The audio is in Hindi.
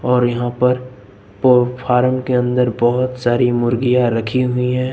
और यहां पर और पो फॉर्म के अंदर बहुत सारी मुर्गियां रखी हुई हैं।